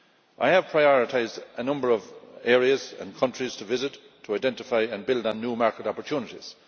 I have prioritised a number of areas and countries to visit to identify and build on new market opportunities.